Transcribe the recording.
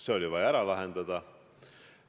See oli vaja ära lahendada.